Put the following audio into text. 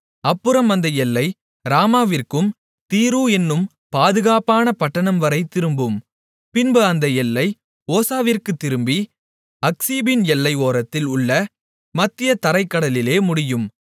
அப்புறம் அந்த எல்லை ராமாவிற்கும் தீரு என்னும் பாதுகாப்பான பட்டணம்வரைத் திரும்பும் பின்பு அந்த எல்லை ஓசாவிற்குத் திரும்பி அக்சீபின் எல்லை ஓரத்தில் உள்ள மத்திய தரைக் கடலிலே முடியும்